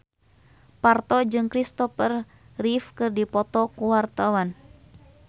Parto jeung Christopher Reeve keur dipoto ku wartawan